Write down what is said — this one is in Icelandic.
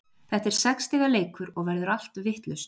Þetta er sex stiga leikur og verður allt vitlaust.